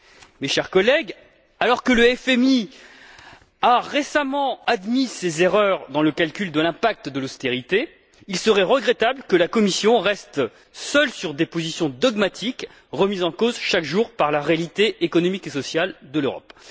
Mes chers collègues, alors que le FMI a, récemment, admis ses erreurs dans le calcul de l'impact de l'austérité, il serait regrettable que la Commission reste, seule, sur des positions dogmatiques, remises en cause chaque jour, par la réalité économique et sociale de l'Europe.